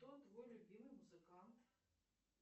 кто твой любимый музыкант